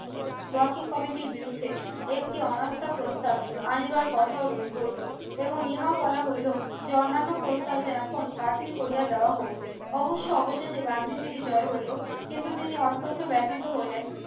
walking comedy র বিরুদ্ধে একটি অনাস্থা প্রস্তাব আনিবার কথার রই হইল এবং ইহা বলা হইল যে অন্যান্য প্রস্তাব যে এখন বাতিল করিয়া দেয়া হোক অবশ্য অবশেষে গান্ধীজীরই জয় হল কিন্তু তিনি অত্যন্ত ব্যাতিত হইলেন